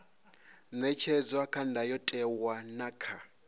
ṅetshedzwa kha ndayotewa na kha